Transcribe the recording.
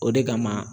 O de kama